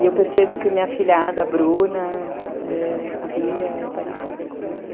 E eu percebo que minha filhada, a Bruna, é, a Bia, é parecida comigo.